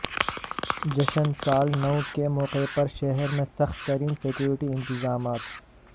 جشن سال نو کے موقع پر شہر میں سخت ترین سکیورٹی انتظامات